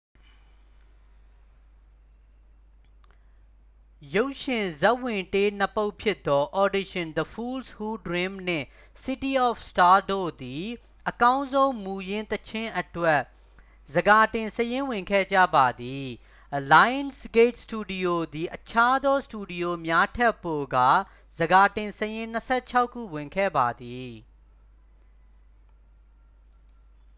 ရုပ်ရှင်ဇာတ်ဝင်တေး နှစ် ပုဒ်ဖြစ်သော၊ audition the fools who dream နှင့် city of stars၊ တို့သည် အကောင်းဆုံးမူရင်းသီချင်းအတွက် ဆန်ခါတင်စာရင်းဝင်ခဲ့ကြပါသည်။ lionsgate စတူဒီယိုသည် အခြားသောစတူဒီယိုများထက်ပိုကာ ဆန်ခါတင်စာရင်း ၂၆ ခုဝင်ခဲ့ပါသည်။